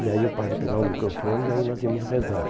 E aí o padre pegava o microfone e aí nós íamos rezar.